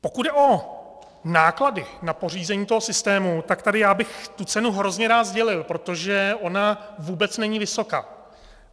Pokud jde o náklady na pořízení toho systému, tak tady já bych tu cenu hrozně rád sdělil, protože ona vůbec není vysoká.